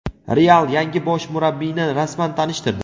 "Real" yangi bosh murabbiyni rasman tanishtirdi.